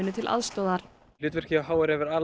til aðstoðar hlutverkið hjá h r hefur